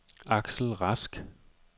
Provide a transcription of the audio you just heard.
Axel Rask